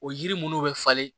O yiri minnu bɛ falen